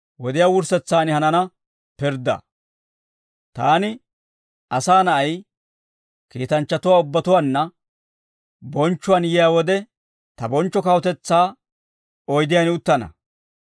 «Taani, Asaa Na'ay, kiitanchchatuwaa ubbatuwanna bonchchuwaan yiyaa wode, ta bonchcho kawutetsaa oydiyaan uttana.